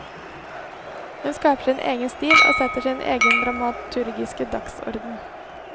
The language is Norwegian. Hun skaper sin egen stil og setter sin egen dramaturgiske dagsorden.